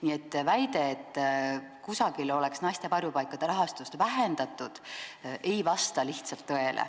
Nii et väide, nagu kusagil oleks naiste varjupaikade rahastust vähendatud, ei vasta lihtsalt tõele.